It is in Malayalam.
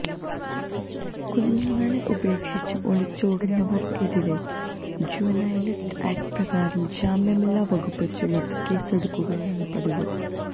കുഞ്ഞുങ്ങളെ ഉപേക്ഷിച്ച് ഒളിച്ചോടുന്നവര്ക്കെതിരെ ജുവനൈല്ജസ്റ്റിസ് ആക്റ്റ് പ്രകാരം ജാമ്യമില്ലാ വകുപ്പ് ചുമത്തി കേസെടുക്കുകയാണ് പതിവ്